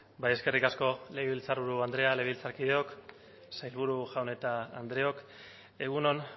bai eskerrik asko legebiltzarburu andrea legebiltzarkideok sailburu jaun eta andreok egun on